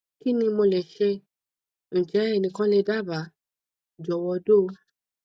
kini mo le se njẹ ẹnikan le daba jọwọ do